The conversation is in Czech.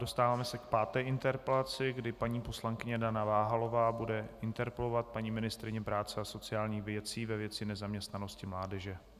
Dostáváme se k páté interpelaci, kdy paní poslankyně Dana Váhalová bude interpelovat paní ministryni práce a sociálních věcí ve věci nezaměstnanosti mládeže.